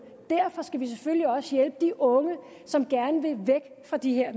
derfor skal vi selvfølgelig også hjælpe de unge som gerne vil væk fra de her